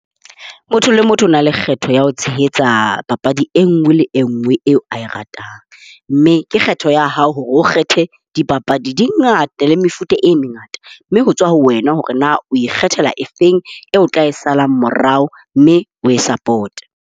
Motho le motho o na le kgetho ya ho tshehetsa papadi e nngwe le e nngwe eo a e ratang. Mme ke kgetho ya hao hore o kgethe. Dipapadi di ngata le mefuta e mengata, mme ho tswa ho wena hore na o ikgethela efeng eo o tla e sala morao, mme o e support-e.